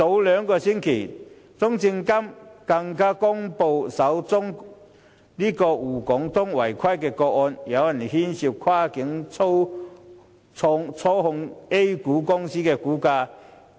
兩星期前，中證監更公布了首宗滬港通的違規個案，有人涉嫌跨境操縱 A 股公司的股價。